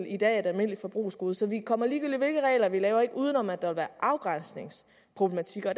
i dag er et almindeligt forbrugsgode så vi kommer ligegyldigt hvilke regler vi laver ikke udenom at der vil være afgrænsningsproblematikker og